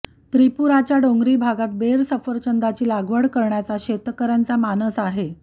त्रिपुराच्या डोंगरी भागात बेर सफरचंदाची लागवड करण्याचा शेतकऱ्यांचा मानस आहे